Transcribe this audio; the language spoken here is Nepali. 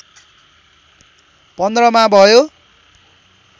१५ मा भयो